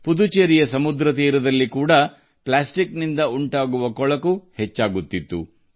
ಪುದುಚೇರಿಯ ಸಮುದ್ರ ತೀರದಲ್ಲಿ ಪ್ಲಾಸ್ಟಿಕ್ನಿಂದ ಉಂಟಾಗುವ ಮಾಲಿನ್ಯ ಕೂಡಾ ಹೆಚ್ಚುತ್ತಿದೆ